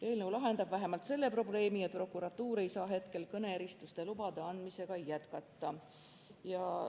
Eelnõu lahendab vähemalt selle probleemi, et prokuratuur ei saa hetkel kõneeristuste lubade andmisega jätkata.